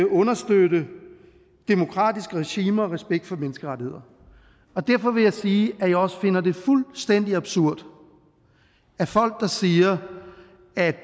understøtte demokratiske regimer med respekt for menneskerettigheder og derfor vil jeg sige at jeg også finder det fuldstændig absurd at folk der siger at